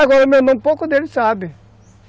Agora